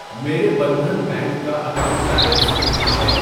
میرے بندھن بینک کا account balance کتنا ہے؟